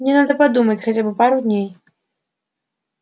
мне надо подумать хотя бы пару дней